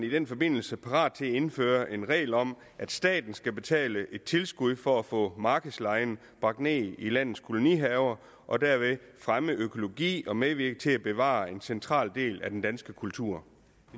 i den forbindelse parat til at indføre en regel om at staten skal betale et tilskud for at få markedslejen bragt ned i landets kolonihaver og derved fremme økologi og medvirke til at bevare en central del af dansk kultur